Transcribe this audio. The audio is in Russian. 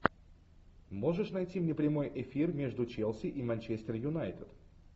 можешь найти мне прямой эфир между челси и манчестер юнайтед